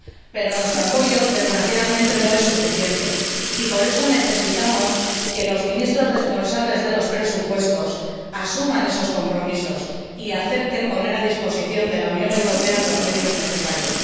Pero nuestro apoyo, desgraciadamente, no es suficiente y por eso necesitamos que los ministros responsables de los presupuestos asuman esos compromisos y acepten poner a disposición de la Unión Europea los medios necesarios.